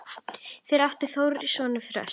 Fyrir átti Þórir soninn Þröst.